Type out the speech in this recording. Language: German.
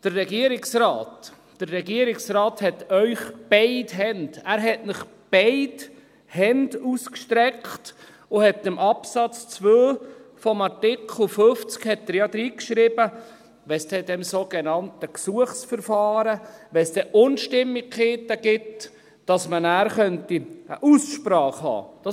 Der Regierungsrat hat Ihnen beide Hände – er hat Ihnen – entgegengestreckt und hat in den Absatz 2 von Artikel 50 hineingeschrieben, dass wenn es dann in diesem sogenannten Gesuchsverfahren Unstimmigkeiten gebe, man eine Aussprache haben könne.